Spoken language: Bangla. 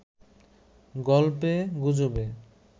গল্পে গুজবে